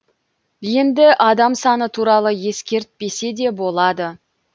енді адам саны туралы ескертпесе де болады